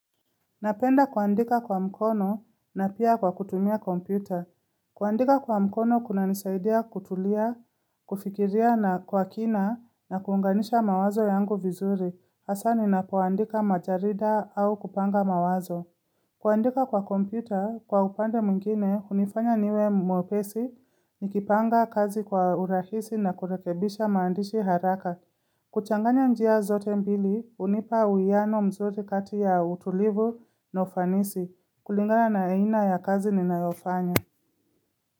Napenda kuandika kwa mkono na pia kwa kutumia kompyuta. Kuandika kwa mkono kunanisaidia kutulia, kufikiria na kwa kina na kuunganisha mawazo yangu vizuri. Hasa ninapoandika majarida au kupanga mawazo. Kuandika kwa kompyuta kwa upande mwingine unifanya niwe mwepesi nikipanga kazi kwa urahisi na kurekebisha maandishi haraka. Kuchanganya njia zote mbili, unipa uiano mzuri kati ya utulivu na ufanisi kulingana na aina ya kazi ninayofanya.